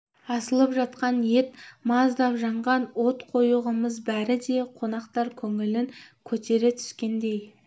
асылып жатқан ет маздап жанған от қою қымыз бәрі де қонақтар көңілін көтере түскендей